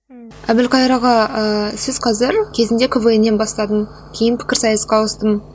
әбілқайыр аға ыыы сіз қазір кезінде квн нан бастадым кейін пікірсайысқа ауыстым